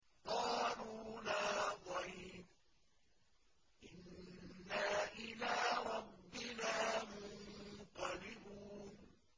قَالُوا لَا ضَيْرَ ۖ إِنَّا إِلَىٰ رَبِّنَا مُنقَلِبُونَ